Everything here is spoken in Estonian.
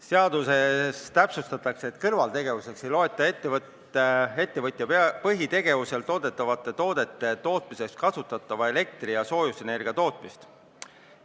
Seaduses täpsustatakse, et kõrvaltegevusalaks ei peeta ettevõtja põhitegevusel toodetavate toodete tootmiseks kasutatava elektri- ja soojusenergia tootmist.